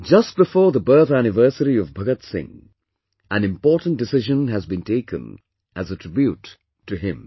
Just before the birth anniversary of Bhagat Singh, an important decision has been taken as a tribute to him